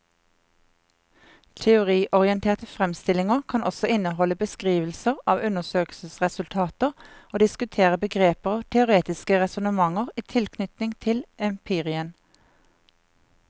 Teoriorienterte fremstillinger kan også inneholde beskrivelser av undersøkelsesresultater og diskutere begreper og teoretiske resonnementer i tilknytning til empirien.